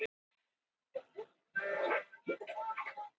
æsir tóku hann að sér en fjötruðu hann til öryggis